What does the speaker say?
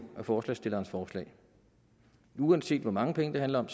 med forslagsstillernes forslag uanset hvor mange penge det handler om